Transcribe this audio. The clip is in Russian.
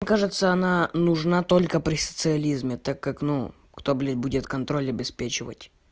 кажется она нужна только при социализме так как ну кто блять будет контроль обеспечивать